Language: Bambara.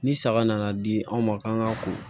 Ni saga nana di anw ma k'an ka ko